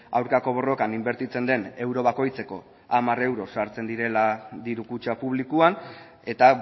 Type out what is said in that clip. aurkako borrokan inbertitzen den euro bakoitzeko hamar euro sartzen direla diru kutxa publikoan eta